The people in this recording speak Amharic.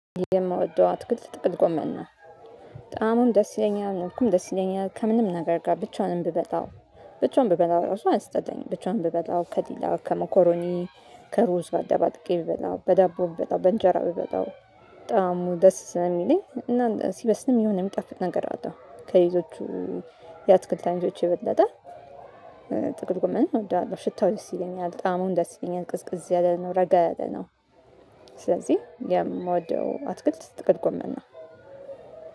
የምወደው አትክልት ጥቅል ጎመን ነው። በጣምም ደስ ይለኛል መልኩም ደስ ይለኛል ከምንም ነገር ጋር ብቻውንም ብበላው። ብቻውን ብበላው ራሱ አያስጠላኝም ብቻውን ብበላው ከዲላ ከሞኮሮኒ ከሩዝ ጋር አደባልቄ ብበላው በዳቦ ብበላው በእንጀራ ብበላው። በጣም ደስ ስለሚለኝ እና ሲበስልም የሆነ የሚጠፍጥ ነገር አለው ከሌሎቹ የአትክልት አይነቶች የበለጠ ጥቅል ጎመንን እወዳለሁ። ሽታው ደስ ይለኛል ጣሙም ደስ ይለኛል ቅዝቅዝ ያለ ነው ረጋ ያለ ነው። ስለዚህ የምወደው አትክልት ጥቅል ጎመና ነው።